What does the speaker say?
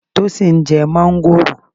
Tósìn ń jẹ́ máńgòrò.